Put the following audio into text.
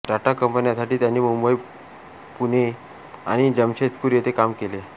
टाटा कंपन्यांसाठी त्यांनी पुणे मुंबई आणि जमशेदपूर येथे काम केले आहे